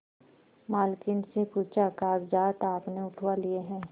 मालकिन से पूछाकागजात आपने उठवा लिए हैं